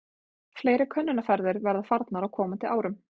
Fleiri könnunarferðir verða farnar á komandi árum.